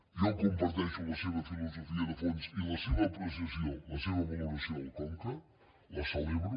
jo comparteixo la seva filosofia de fons i la seva apreciació la seva valoració del conca la celebro